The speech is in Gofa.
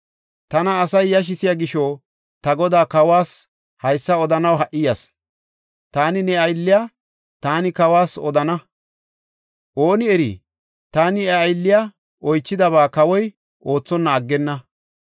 “Tana asay yashisiya gisho ta godaa, kawas, haysa odanaw ha77i yas. ‘Taani ne aylliya, taani kawas odana; ooni eri, taani iya aylliya oychidaba kawoy oothonna aggenna.